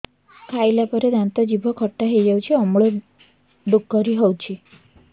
ଖାଇଲା ପରେ ଦାନ୍ତ ଜିଭ ଖଟା ହେଇଯାଉଛି ଅମ୍ଳ ଡ଼ୁକରି ହଉଛି